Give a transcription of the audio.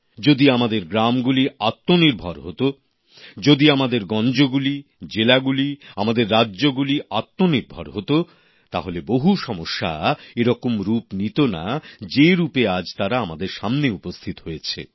যদি আমাদের গ্রামগুলি আত্মনির্ভর হত যদি আমাদের গঞ্জগুলি জেলাগুলি আমাদের রাজ্যগুলি আত্মনির্ভর হত তাহলে বহু সমস্যা এরকম আকার নিত না যেভাবে আজ তারা আমাদের সামনে উপস্থিত হয়েছে